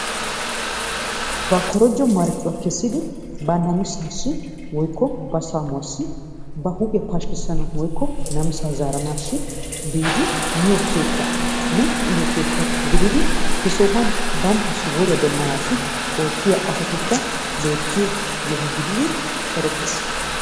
Ba korjjo marcuwaa kesiddi ba namisasi woyko ba samuwasi woyko ba huphiyaa pashikisanasi woko namisa zaranassi biddi miyo kettaanne uyiyoo kettaaa gididi he sobuwan bantassi woriyaa demanassi ottiya asatikkaa bettiyo yoho gididi erettessi.